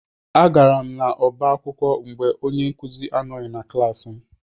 Agara m n'ọba akwụkwọ mgbe onye nkụzi anoghi na klaasị m.